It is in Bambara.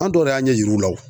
An dɔw de y'a ɲɛ yir'u la o.